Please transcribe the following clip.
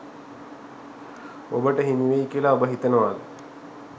ඔබට හිමි වෙයි කියලා ඔබ හිතනවාද?